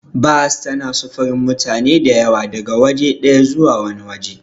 Bas tana sufurin mutane da yawa daga waje ɗaya zuwa wani waje.